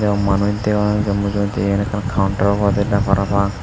eyot manuj dega nejar mujogedi eyan ekkan counter obode parapang.